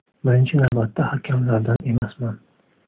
Birinchi navbatda hakamlardan emasman.